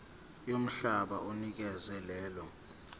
yomhlaba onikezwe lelo